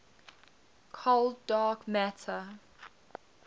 cold dark matter